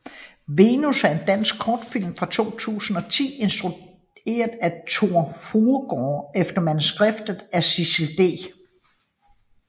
Venus er en dansk kortfilm fra 2010 instrueret af Tor Fruergaard og efter manuskript af Sissel D